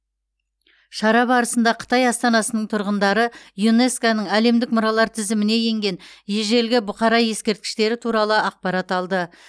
шара барысында қытай астанасының тұрғындары юнеско ның әлемдік мұралар тізіміне енген ежелгі бұқара ескерткіштері туралы ақпарат алды